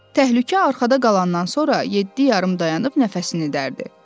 Təhlükə arxada qalandan sonra yeddi yarım dayanıb nəfəsini dərdi.